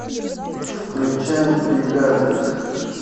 включай бригада